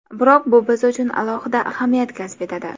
Biroq bu biz uchun alohida ahamiyat kasb etadi.